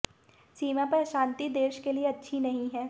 सीमा पर अशांति देश के लिए अच्छी नहीं है